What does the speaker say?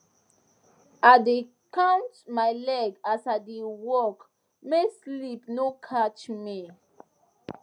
i dey count my leg as i dey work make sleep no catch me